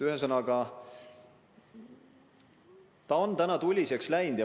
Ühesõnaga, õhkkond on tuliseks läinud.